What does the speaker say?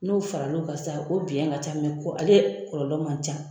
N'o faral'o kan sa o biyɛn ka ca mɛ ko ale kɔlɔlɔ man ca.